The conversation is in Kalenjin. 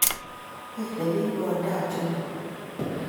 Belee bich kondab jehovah